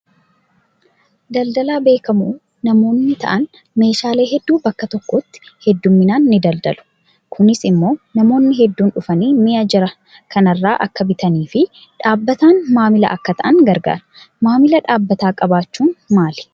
Daldalaa beekamoo namoonni ta'an meeshaalee hedduu bakka tokkotti hedduminaan ni daldalu. Kunis immoo namoonni hedduun dhufanii mi'a jara kanarraa akka bitanii fi dhaabbataan maamila akka ta'an garaagara. Maamila dhaabbataa qabaachuun maali?